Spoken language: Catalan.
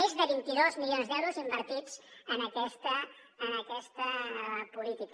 més de vint dos milions d’euros invertits en aquesta política